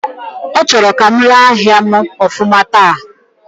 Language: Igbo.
Ọ chọrọ ka m lee ahịa m ofuma taata